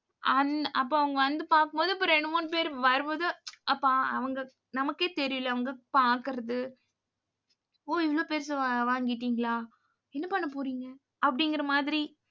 அந்~ அப்ப அவங்க வந்து பாக்கும் போது, இப்ப ரெண்டு மூணு பேர் வரும்போது அப்ப அவங்க நமக்கே தெரியல அவங்க பாக்குறது ஓ இவ்வளவு பெருசா வாங்கிட்டீங்களா? என்ன பண்ண போறீங்க? அப்படிங்கிற மாதிரி